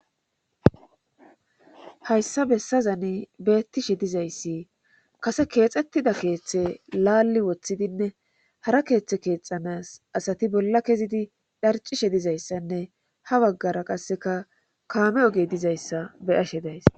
hayssa bessazani beettishe dizayssi kase keexxettida keeththe laalli woththidinne hara keeththe keexanas asati bolla kezidi dharcishe dizayssanne ha baggara qasseka kaame oge dizayssa beyashe days